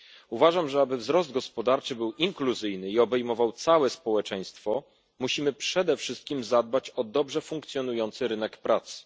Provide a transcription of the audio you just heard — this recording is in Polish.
Uważam, że aby wzrost gospodarczy był inkluzyjny i obejmował całe społeczeństwo, musimy przede wszystkim zadbać o dobrze funkcjonujący rynek pracy.